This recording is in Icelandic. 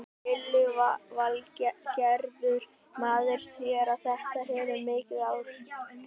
Lillý Valgerður: Maður sér að þetta hefur mikil áhrif á þig?